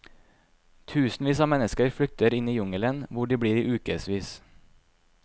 Tusenvis av mennesker flykter inn i jungelen, hvor de blir i ukesvis.